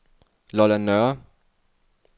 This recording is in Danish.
Lolland Nørre